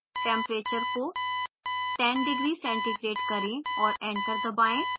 temperature को 10 degc करें और enter दबाएँ